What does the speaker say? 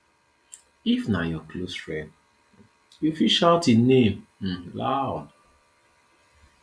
if na your close friend um you fit shout im name um loud